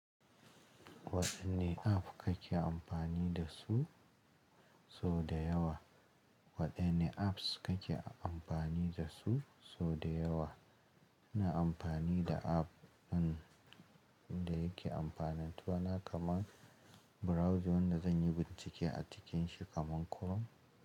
Waɗanne app kake amfani da su sau da yawa? Waɗanne apps kake amfani da su sau da yawa? Ina amfani da app ɗin da yake amfanatar dani kamar browser wanda zan yi bincike a cikin shi kamar Chrome.